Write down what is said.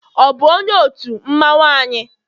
ọ bu onye otu mmanwu anyị?